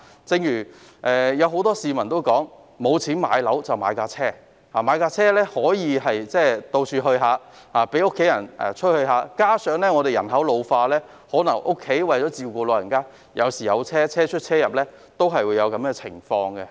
正如很多市民所說，沒錢買樓便買車，買車後可以到處走走，讓家人出入，加上香港人口老化，為了照顧家中的長者，有時需要以車輛代步。